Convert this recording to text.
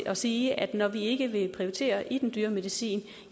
og sige at når vi ikke vil prioritere i den dyre medicin